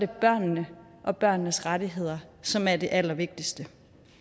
børnene og børnenes rettigheder som er det allervigtigste